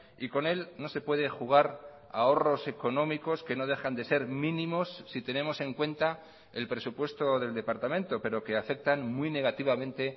y con él no se puede jugar ahorros económicos que no dejan de ser mínimos si tenemos en cuenta el presupuesto del departamento pero que afectan muy negativamente